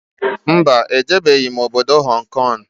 Mba, ejebeghi m obodo Hong Kong